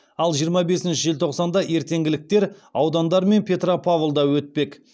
ал жиырма бесінші желтоқсанда ертеңгіліктер аудандар мен петропавлда өтпек